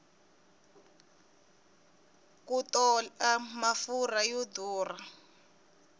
ku tola mafurha yo durha